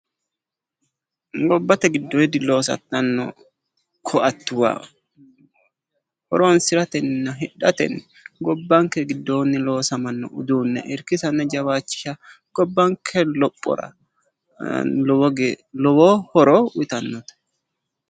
Gobbate giddoonni loosantanno koattuwa. Horoonsiratenna hidhatenni gobbanke giddoonni loosamanno uduunne irkisanna jawaachisha gobbanke lophora lowo horo uyitanno.